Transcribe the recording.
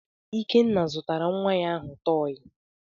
Ikenna zụtara nwa ahụ tọọyị.